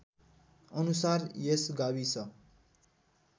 अनुसार यस गाविस